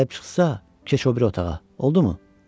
Gəlib çıxsa, keç o biri otağa, oldu mu?